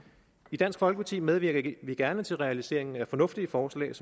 i dansk folkeparti medvirker vi gerne til realiseringen af fornuftige forslag